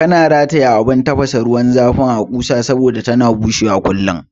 Kana rataya abun tafasa ruwan zafin a ƙusa saboda tana bushewa kullum